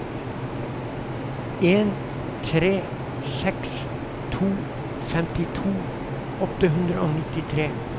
en tre seks to femtito åtte hundre og nittitre